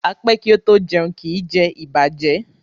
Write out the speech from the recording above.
A pé kí o to jẹún, kí jé ìbàjẹ́.